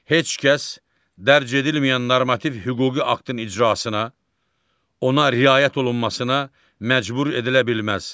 Heç kəs dərc edilməyən normativ hüquqi aktın icrasına, ona riayət olunmasına məcbur edilə bilməz